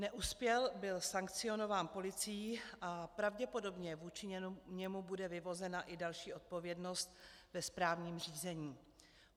Neuspěl, byl sankcionován policií a pravděpodobně vůči němu bude vyvozena i další odpovědnost ve správním řízení.